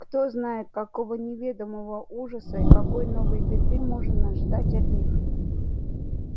кто знает какого неведомого ужаса и какой новой беды можно ждать от них